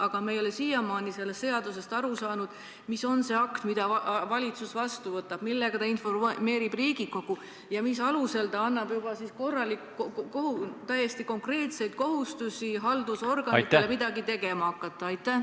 Aga me ei ole siiamaani aru saanud, mis on see akt, mille valitsus vastu võtab, millega ta informeerib Riigikogu ja mille alusel ta annab juba täiesti konkreetseid kohustusi haldusorganitele midagi tegema hakata.